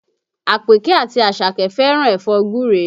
Àpèkẹ́ àti Àṣàkẹ́ fẹ́ràn ẹ̀fọ́ gúre